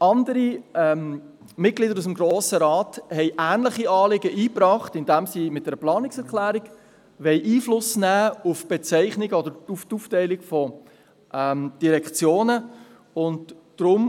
Andere Mitglieder des Grossen Rates haben ähnliche Anliegen eingebracht, indem sie mit Planungserklärungen auf die Bezeichnungen oder auf die Aufteilung Einfluss nehmen wollen.